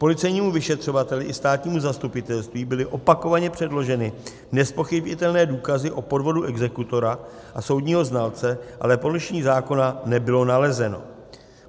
Policejnímu vyšetřovateli i státnímu zastupitelství byly opakovaně předloženy nezpochybnitelné důkazy o podvodu exekutora a soudního znalce, ale porušení zákona nebylo nalezeno.